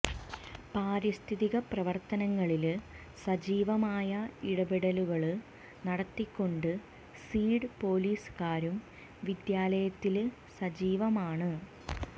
പാരിസ്ഥിതിക പ്രവര്ത്തനങ്ങളില് സജീവമായ ഇടപെടലുകള് നടത്തി കൊണ്ട് സീഡ് പോലീസുകാരും വിദ്യാലയത്തില് സജീവമാണ്